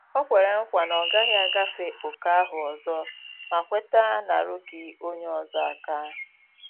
Ọ kwere nkwa na ọ gaghị agafe ókè ahụ ọzo ma kweta narugi onye ozo aka